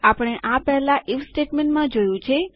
આપણે આ પહેલા આઇએફ સ્ટેટમેન્ટમાં જોયું છે